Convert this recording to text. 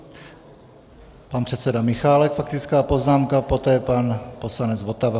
Pan předseda Michálek, faktická poznámka, poté pan poslanec Votava.